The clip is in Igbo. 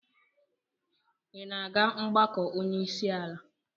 Ị na-aga mgbakọ onye isi ala?